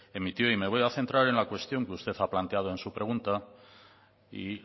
emitió y me voy a centrar en la cuestión que usted ha planteado en su pregunta y